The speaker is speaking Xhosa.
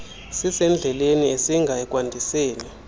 sisendleleni esinga ekwandiseni